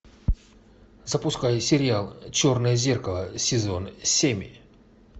запускай сериал черное зеркало сезон семь